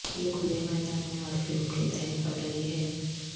یہ کھلے میدان میں اور فلم کے تحت بڑھ رہی ہے